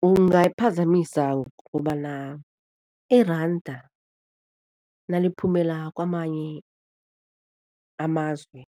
Kungayiphazamisa kobana iranda naliphumela kwamanye amazwe